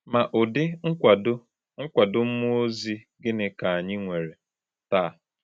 Ma ụdị nkwado nkwado mmụọ ozi gịnị ka anyị nwere taa?